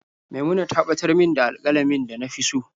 Maimuna ta batar min da alƙalamin na da na fi so.